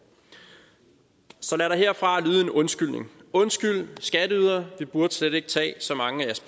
så lad der herfra lyde en undskyldning undskyld skatteydere vi burde slet ikke tage så mange af